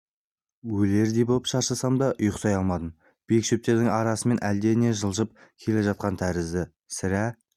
өлердей боп шаршасам да ұйықтай алмадым биік шөптердің арасымен әлде не жылжып келе жатқан тәрізді сірә